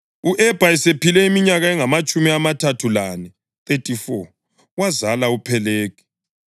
U-Ebha esephile iminyaka engamatshumi amathathu lane (34) wazala uPhelegi.